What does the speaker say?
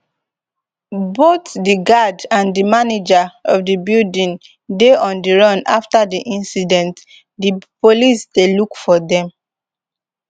both di guard and di manager of di building dey on di run afta di incident di police dey look for dem